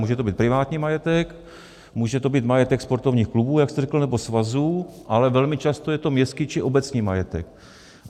Může to být privátní majetek, může to být majetek sportovních klubů, jak jste řekl, nebo svazů, ale velmi často je to městský či obecní majetek.